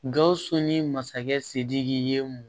Gawusu ni masakɛ sidiki ye mun